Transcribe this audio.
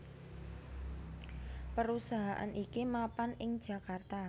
Perusahaan iki mapan ing Jakarta